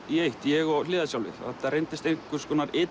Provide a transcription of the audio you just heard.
í eitt ég og þetta reyndist einhvers konar